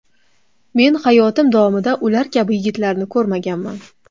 Men hayotim davomida ular kabi yigitlarni ko‘rmaganman.